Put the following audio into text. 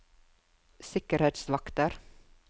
sikkerhetsvakter